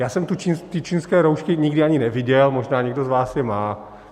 Já jsem ty čínské roušky nikdy ani neviděl, možná někdo z vás je má.